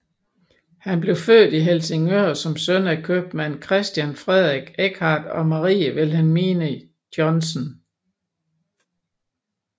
Han blev født i Helsingør som søn af købmand Christian Frederik Eckardt og Marie Vilhelmine Johnsen